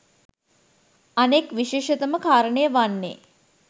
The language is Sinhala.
අනෙක් විශේෂතම කාරණය වන්නේ